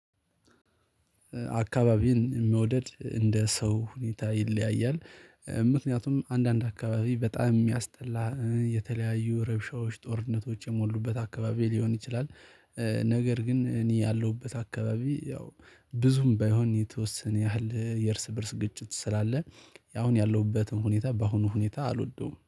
አካባቢን መውደድ እንደ ሰው ሁኔታ ይለያያል ምክንያቱም አንዳንድ አካባቢ በጣም የሚያስጠላ የተለያዩ ረብሻዎች ጦርነቶች የሞሉበት አካባቢ ሊሆን ይችላል። ነገር ግን እኔ ያለሁበት አካባቢ ያው ብዙም ባይሆን የተወሰነ ያህል የእርስ በእርስ ግጭት ስላለ ያሁን ያለሁበትም ሁኔታ በአሁኑ ሁኔታ አልወደውም